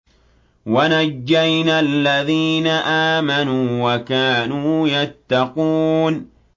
وَنَجَّيْنَا الَّذِينَ آمَنُوا وَكَانُوا يَتَّقُونَ